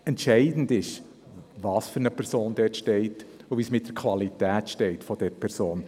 Entscheidend ist, welche Person dort steht und welche Qualität sie mitbringt.